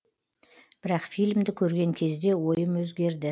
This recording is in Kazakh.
бірақ фильмді көрген кезде ойым өзгерді